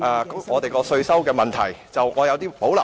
我們的稅收問題，我有所保留。